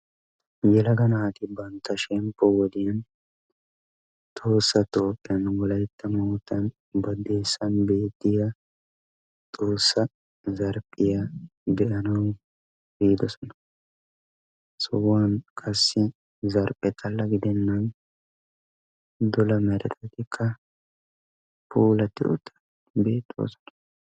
Yelaga naati bantta shemppo wodiyan tohossa Toophphiyan wolaytta moottan baddeessan beettiyaa xoossa zarphphiya be"anaw biidosona. He sohuwan qassi zarphphe xalla gidennan dola meretatikka puulatti uttidi beettoosona.